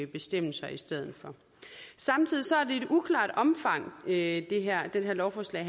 bestemmelser i stedet for samtidig er omfanget af det her lovforslag